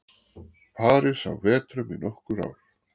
París á vetrum í nokkur ár.